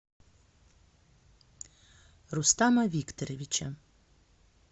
рустама викторовича